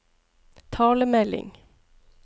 talemelding